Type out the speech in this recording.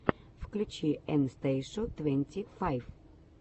включи эн стейшу твенти файв